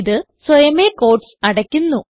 ഇത് സ്വയമേ ക്യൂട്ടീസ് അടയ്ക്കുന്നു